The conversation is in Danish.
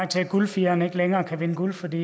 til at guldfireren ikke længere kan vinde guld fordi